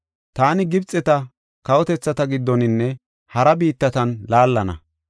Taani Gibxeta kawotethata giddoninne hara biittatan laallana.